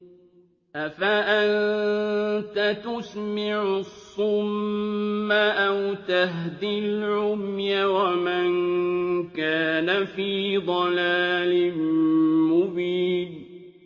أَفَأَنتَ تُسْمِعُ الصُّمَّ أَوْ تَهْدِي الْعُمْيَ وَمَن كَانَ فِي ضَلَالٍ مُّبِينٍ